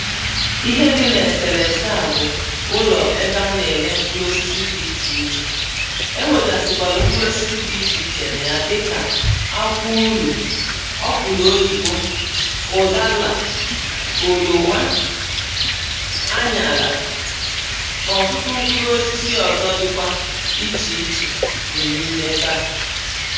Ihe dị na eselese a bụ̀ ụlọ ebe a na-ele mkpụlụ osisi dị iche ichè e nwegasikwalụ mkpụlụ osisi dị iche iche na ya dịkà akwụ ulo ọkwụlụ oyibo ụdaala oloma anyala na ọtụtụ mkpụrụ osisi ọzọ dịkwa iche ichè dị na ime ebe à